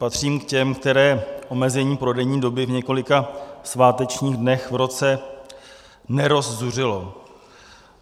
Patřím k těm, které omezení prodejní doby v několika svátečních dnech v roce nerozzuřilo.